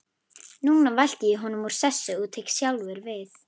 Núna velti ég honum úr sessi og tek sjálfur við.